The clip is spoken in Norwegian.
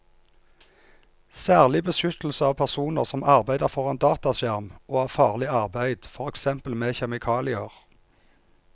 Særlig beskyttelse av personer som arbeider foran dataskjerm og av farlig arbeid, for eksempel med kjemikalier.